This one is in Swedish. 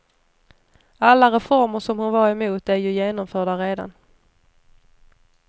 Alla reformer som hon var emot är ju genomförda redan.